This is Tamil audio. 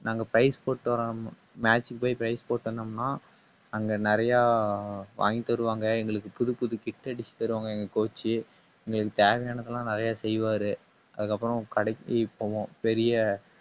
நாங்க prize போட்டுட்டு வர்றோம். match க்கு போய் price போட்டு வந்தோம்ன்னா அங்க அங்க நிறைய வாங்கித் தருவாங்க. எங்களுக்கு புதுப்புது kit அடிச்சி தருவாங்க எங்க coach எங்களுக்குத் தேவையானது எல்லாம் நிறைய செய்வாரு. அதுக்கப்புறம் கடைக்குப் போவோம். பெரிய